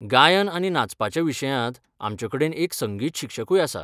गायन आनी नाचपाच्या विशयांत, आमचे कडेन एक संगीत शिक्षकूय आसा.